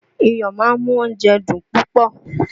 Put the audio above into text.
Iyọ̀ máa ń mú oúnjẹ dùn púpọ̀